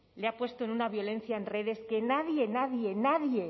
le ha puesto en una violencia en redes que nadie nadie nadie